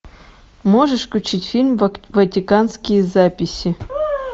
можешь включить фильм ватиканские записи